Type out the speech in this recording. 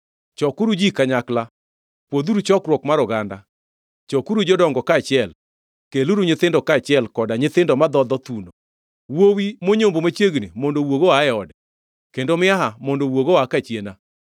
Chokuru ji kanyakla, pwodhuru chokruok mar oganda, chokuru jodongo kaachiel, keluru nyithindo kaachiel, koda nyithindo madhodho thuno. Wuowi monyombo machiegni mondo owuogi oa e ode, kendo miaha mondo owuogi oa kachiena.